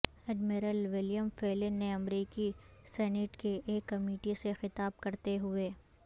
admiral William Fallon نے امریکی Senate کی ایک کمیٹی سے خطاب کرتے ہوئے